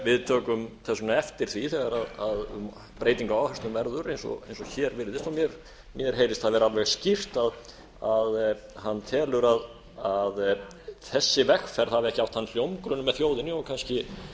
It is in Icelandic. við tökum þess vegna eftir því þegar um breytingu á áherslum verður eins og hér virðist mér heyrist það vera alveg skýrt að hann telur að þessi vegferð hafi ekki átt þann hljómgrunn með þjóðinni og kannski